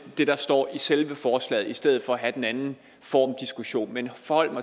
det der står i selve forslaget i stedet for at have en anden formdiskussion men